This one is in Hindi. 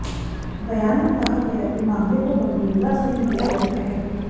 बयान में कहा गया कि मामले को गंभीरता से लिया गया है